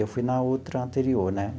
Eu fui na outra anterior, né?